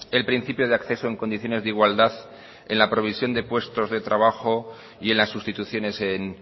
el principio de acceso en condiciones de igualdad en la provisión de puestos de trabajo y en las sustituciones en